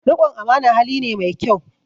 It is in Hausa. Riƙon amana hali ne mai kyau